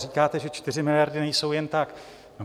Říkáte, že 4 miliardy nejsou jen tak.